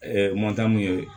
mun ye